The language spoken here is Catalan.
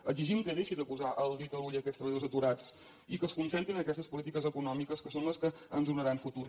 exigim que deixi de posar el dit a l’ull en aquests treballadors aturats i que es concentri en aquestes polítiques econòmiques que són les que ens donaran futur